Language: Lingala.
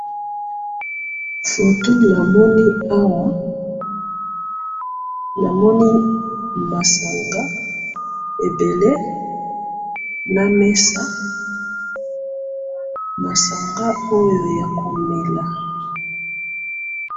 Photo na moni awa eza masanga ebele ya komela likolo ya mesa.